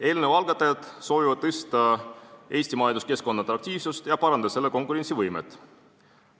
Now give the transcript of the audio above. Eelnõu algatajad soovivad tõsta Eesti majanduskeskkonna atraktiivsust ja parandada selle konkurentsivõimet.